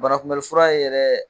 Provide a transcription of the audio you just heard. Banakunbɛlifura ye yɛrɛ.